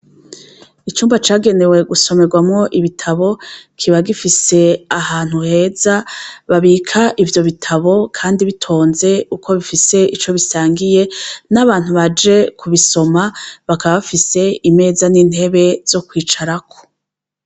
Icumba cagenewe gusomerwamo ibitabo kiba gifise ahantu heza babika ivyo bitabo, kandi bitonze uko bifise ico bisangiye n'abantu baje ku bisoma bakabafise imeza n'intebe zo kwicarako.